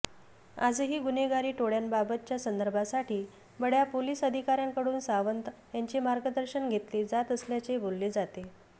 आजही गुन्हेगारी टोळ्यांबाबतच्या संदर्भासाठी बड्या पोलिस अधिकाऱ्यांकडून सावंत यांचे मार्गदर्शन घेतले जात असल्याचे बोलले जाते